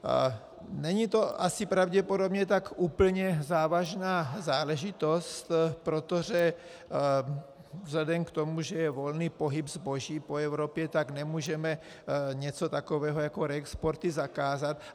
Není to asi pravděpodobně tak úplně závažná záležitost, protože vzhledem k tomu, že je volný pohyb zboží po Evropě, tak nemůžeme něco takového jako reexporty zakázat.